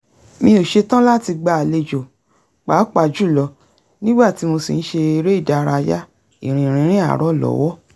mi ò ṣetán láti gba àlejò pàápàá jùlọ nígbà tí mo sì ń ṣe eré ìdárayá ìrìn rínrìn àárọ̀ lọ́wọ́